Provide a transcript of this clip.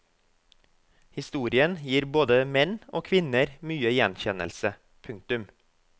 Historien gir både menn og kvinner mye gjenkjennelse. punktum